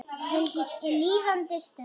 Hin líðandi stund.